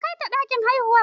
Kaita ɗakin haihuwa!